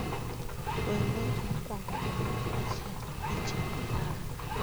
wer wer mokwongo gi dwol achiel gi chenro mara